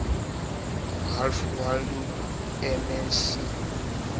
ralph waldo emerson